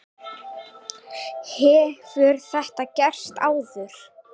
Hefur þetta verið gert áður?